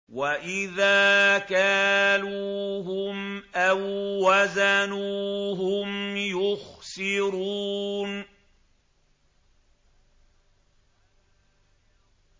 وَإِذَا كَالُوهُمْ أَو وَّزَنُوهُمْ يُخْسِرُونَ